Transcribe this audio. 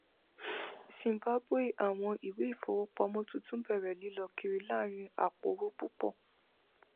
zimbabwe awọn iwe ifowopamọ tuntun bẹrẹ lilọ kiri laarin apoowo pupọ